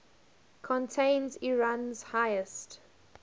contains iran's highest